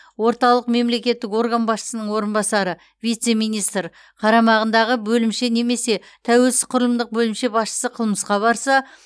орталық мемлекеттік орган басшысының орынбасары вице министр қарамағындағы бөлімше немесе тәуелсіз құрылымдық бөлімше басшысы қылмысқа барса